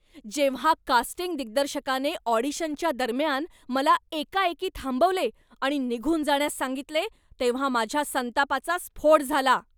जेव्हा कास्टिंग दिग्दर्शकाने ऑडिशनच्या दरम्यान मला एकाएकी थांबवले आणि निघून जाण्यास सांगितले तेव्हा माझ्या संतापाचा स्फोट झाला.